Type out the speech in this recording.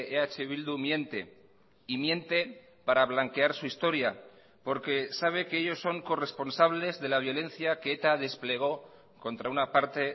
eh bildu miente y miente para blanquear su historia porque sabe que ellos son corresponsables de la violencia que eta desplegó contra una parte